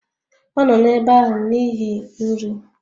Ọ nọ n'ebe ahụ n'ihi nri